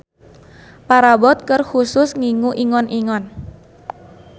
Parabot keur khusus ngingu ingon-ingon.